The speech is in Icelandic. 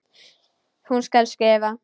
Hún skal skrifa!